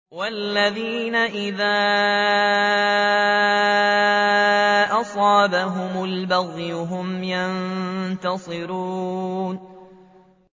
وَالَّذِينَ إِذَا أَصَابَهُمُ الْبَغْيُ هُمْ يَنتَصِرُونَ